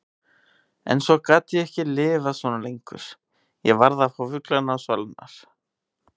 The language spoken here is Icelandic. En svo gat ég ekki lifað svona lengur, ég varð að fá fuglana á svalirnar.